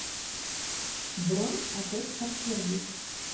бронь отель подтвердить